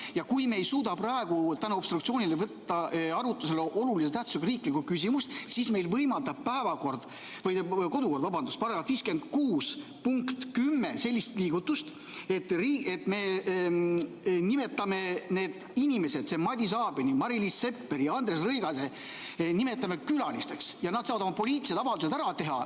Ja kui me ei suuda praegu obstruktsiooni tõttu võtta arutusele olulise tähtsusega riiklikku küsimust, siis võimaldab meie kodukorraseaduse § 56 punkt 10 sellist liigutust, et me nimetame need inimesed, Madis Abeni, Mari-Liis Sepperi, Andres Rõigase, külalisteks ja nad saavad oma poliitilised avaldused ära teha.